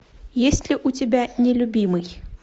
есть ли у тебя нелюбимый